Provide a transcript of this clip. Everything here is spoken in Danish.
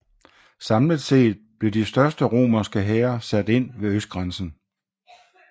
Samlet set blev de største romerske hære sat ind ved østgrænsen